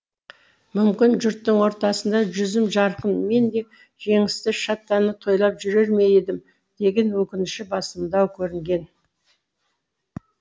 мүмкін жұрттың ортасында жүзім жарқын мен де жеңісті шаттана тойлап жүрер ме едім деген өкініші басымдау көрінген